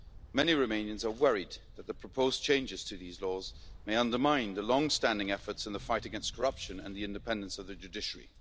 Many Romanians are worried that the proposed changes to these laws may undermine the longstanding efforts in the fight against corruption and the independence of the judiciary.